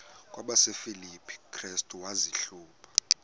kwabasefilipi restu wazihluba